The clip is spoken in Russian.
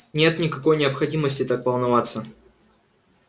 нет никакой необходимости так волноваться